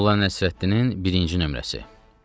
Molla Nəsrəddinin birinci nömrəsi.